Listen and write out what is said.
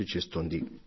కానీ ఇదొక్కటే కాదు